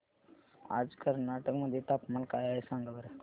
आज कर्नाटक मध्ये तापमान काय आहे सांगा बरं